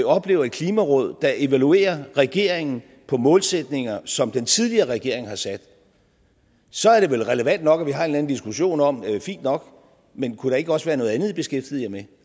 oplever et klimaråd der evaluerer regeringen på målsætninger som den tidligere regering har sat så er det vel relevant nok at vi har en eller anden diskussion om fint nok men kunne der ikke også været noget andet i kunne beskæftige jer med